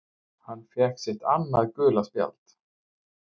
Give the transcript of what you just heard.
Hann fékk sitt annað gula spjald